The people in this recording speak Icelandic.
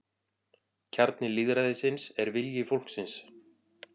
Kjarni lýðræðisins er vilji fólksins